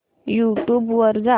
YouTube वर जा